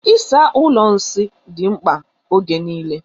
Ịsa ụlọ nsị dị mkpa ógè niile.